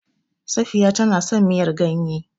Safiya tana son miyar ganye.